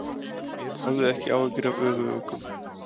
Hafðu ekki áhyggjur af öfuguggum.